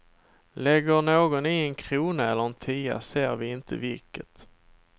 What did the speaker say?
Lägger någon i en krona eller en tia ser vi inte vilket.